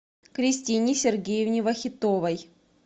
кристине сергеевне вахитовой